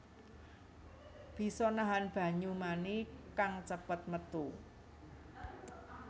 Bisa nahan banyu mani kang cepet métu